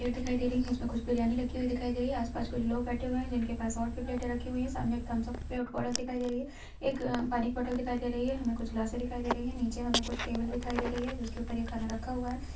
Plate दिखाई दे रही है जिसमे कुछ बिरियानी रखी हुए दिखाई दे रही है आसपास कुछ लोग बैठे हुए है जिनके पास और भी प्लेटें रखी हुए है सामने एक थम्ब्स अप बौटल दिखाई दे रही है एक पानी की बौटल दिखाई दे रही है हमे कुछ ग्लासे दिखाई दे रही है नीचे हमे कुछ टेबल दिखाई दे रही है जिसके ऊपर ये खाना रखा हुआ है।